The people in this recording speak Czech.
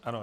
Ano.